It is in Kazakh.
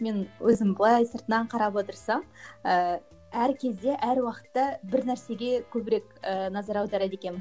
мен өзім былай сыртынан қарап отырсам ііі әр кезде әр уақытта бір нәрсеге көбірек ііі назар аударады екенмін